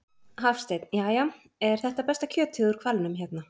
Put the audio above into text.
Hafsteinn: Jæja, er þetta besta kjötið úr hvalnum hérna?